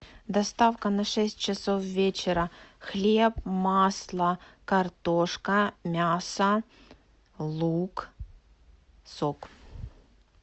доставка на шесть часов вечера хлеб масло картошка мясо лук сок